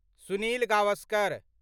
Sunil Gavaskar